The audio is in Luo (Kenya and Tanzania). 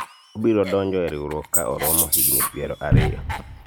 to obiro donjo e riwruok ka oromo higni piero ariyo